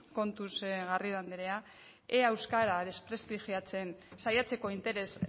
kontuz garrido andrea ea euskara desprestigiatzen saiatzeko interes